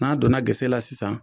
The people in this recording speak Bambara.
N'a donna gese la sisan